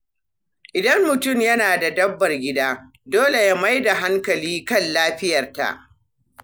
Idan mutum yana da dabbar gida, dole ya mai da hankali kan lafiyarta.